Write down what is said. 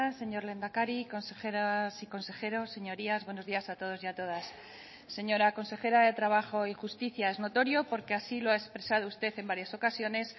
señor lehendakari consejeras y consejeros señorías buenos días a todos y a todas señora consejera de trabajo y justicia es notorio porque así lo ha expresado usted en varias ocasiones